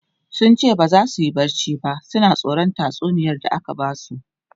sunce baza suyi barci ba suna tsoran tatsuniyar da aka Basu